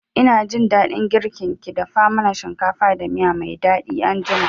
Ina jin daɗin girkin ki, dafa mana shinkafa da miya mai daɗi anjima